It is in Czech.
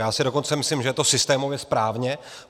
Já si dokonce myslím, že je to systémově správné.